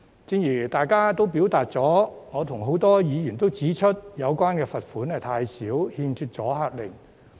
正如大家所表達的意見，我及多位議員也指出有關罰款太少，欠缺阻嚇力。